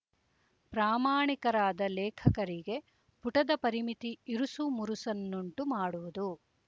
ಪ್ರಾಮಾಣಿಕರಾದ ಲೇಖಕರಿಗೆ ಪುಟದ ಪರಿಮಿತಿ ಇರುಸು ಮುರುಸನ್ನುಂಟು ಮಾಡುವುದು